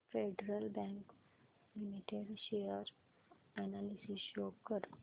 federal bank limited share analysis show कर